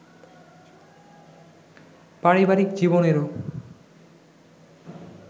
পারিবারিক জীবনেরও